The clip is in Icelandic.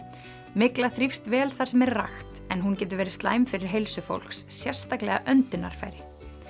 mygla þrífst vel þar sem er rakt en hún getur verið slæm fyrir heilsu fólks sérstaklega öndunarfæri